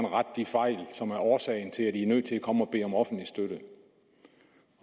rette de fejl som er årsagen til at de er nødt til at komme og bede om offentlig støtte